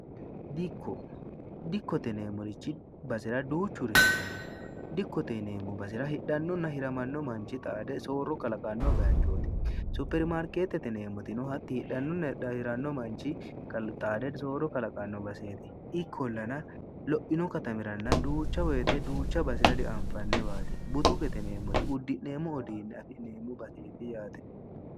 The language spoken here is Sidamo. dikko, dikkote yinannire basera duuchuri heerannol dikkote yineemmo basera hirannohunna hidhanno manni xaade soorro kalaqanno baychooti. Suuqetete yineemmoteti hidhannohunna hiramannohu xaade soorro kalaqanno. butukete yiti yineemmoti udi'neemmo uduunne afi'neemmo baseeti yatte